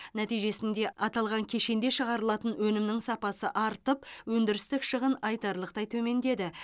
нәтижесінде аталған кешенде шығарылатын өнімнің сапасы артып өндірістік шығын айтарлықтай төмендеді